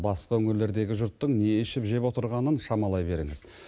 басқа өңірлердегі жұрттың не ішіп жеп отырғанын шамалай беріңіз